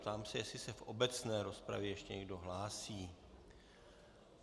Ptám se, jestli se v obecné rozpravě ještě někdo hlásí.